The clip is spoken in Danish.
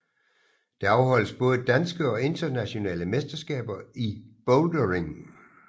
Der afholdes både danske og internationale mesterskaber i bouldering